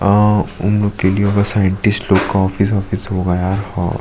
अ उन लोग के लिए होगा साइनटिस्ट लोग का ऑफिस वोफिस होगा यार हा --